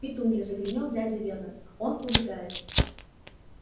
петунья загремел дядя вернон он убегает